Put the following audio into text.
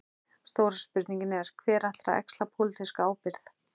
Stóra spurningin er: Hver ætlar að axla pólitíska ábyrgð?